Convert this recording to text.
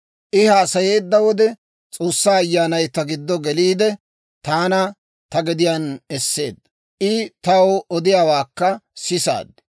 I haasayeedda wode S'oossaa Ayyaanay ta giddo geliide, taana ta gediyaan esseedda. I taw odiyaawaakka sisaad.